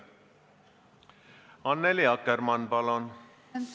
Annely Akkermann, palun!